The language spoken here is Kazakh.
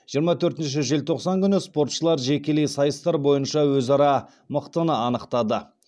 жиырма төртінші желтоқсан күні спортшылар жекелей сайыстар бойынша өзара мықтыны анықтады